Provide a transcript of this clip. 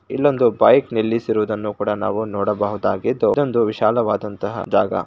ಇಲ್ಲೊಂದು ಬೈಕ್ ನಿಲ್ಲಿಸುವುದನ್ನು ಕೂಡ ನಾವು ನೋಡಬಹುದಾಗಿತ್ತು ಇದೊಂದು ವಿಶಾಲವಾದಂತಹ ಜಾಗ--